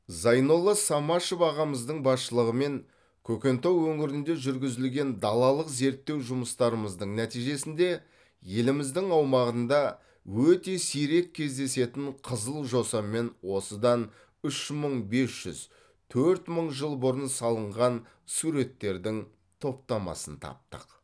зайнолла самашев ағамыздың басшылығымен көкентау өңірінде жүргізілген далалық зерттеу жұмыстарымыздың нәтижесінде еліміздің аумағында өте сирек кездесетін қызыл жосамен осыдан үш мың бес жүз төрт мың жыл бұрын салынған суреттердің топтамасын таптық